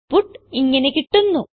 output ഇങ്ങനെ കിട്ടുന്നു